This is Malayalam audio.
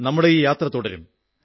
നമ്മുടെ ഈ യാത്ര തുടരും